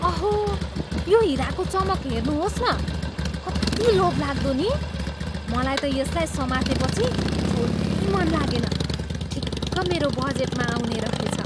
अहो! यो हिराको चमक हेर्नुहोस् न! कति लोभलाग्दो नि! मलाई त यसलाई समातेपछि छोड्नै मन लागेन। ठिक्क मेरो बजेटमा आउने रहेछ।